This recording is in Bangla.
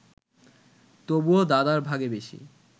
তবুও দাদার ভাগে বেশি